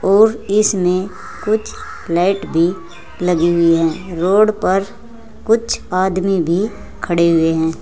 और इसमें कुछ लाइट भी लगी हुई हैं रोड पर कुछ आदमी भी खड़े हुए हैं।